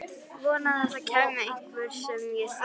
Vonaði að það kæmi einhver sem ég þekkti.